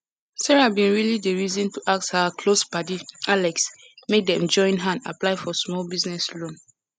sarah bin really dey reason to ask her close padi alex make dem join hand apply for smalll business loan